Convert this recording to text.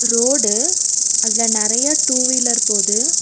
Road அதுல நறைய two wheeler போது.